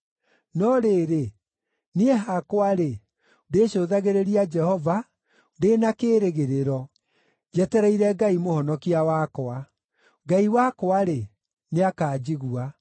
No rĩrĩ, niĩ hakwa‑rĩ, ndĩcũthagĩrĩria Jehova ndĩ na kĩĩrĩgĩrĩro, njetereire Ngai Mũhonokia wakwa; Ngai wakwa-rĩ, nĩakanjigua.